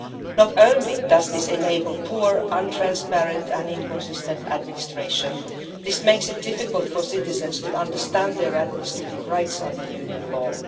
Not only does this enable poor, non transparent and inconsistent administration, it makes it difficult for citizens to understand their administrative rights under Union law.